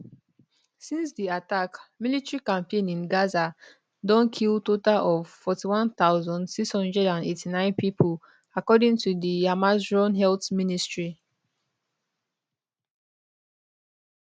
since di attack military campaign in gaza don kill total of 41689 pipo according to di hamasrun health ministry